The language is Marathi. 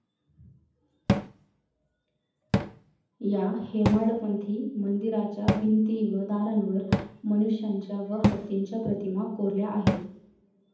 या हेमाडपंथी मंदिराच्या भिंती व दारांवर मनुष्यांच्या व हत्तीच्या प्रतिमा कोरल्या आहेत.